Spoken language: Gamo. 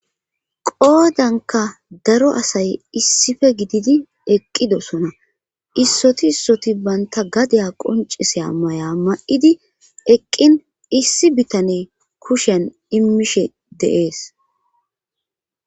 qoodanka daro asay issife gididi eqqidosona issoti issoti banta gadeya qonciseya may'a ma7idi eqqin issi bitane kushen immishe deees.